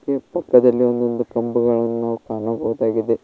ಇಲ್ಲಿ ಪಕ್ಕದಲ್ಲಿ ಒಂದೊಂದು ಕಂಬಗಳನ್ನು ನಾವು ಕಾಣಬಹುದಾಗಿದೆ.